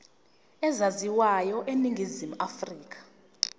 ezaziwayo eningizimu afrika